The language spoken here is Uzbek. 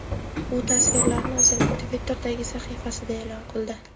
U tasvirlarni o‘zining Twitter’dagi sahifasida e’lon qildi .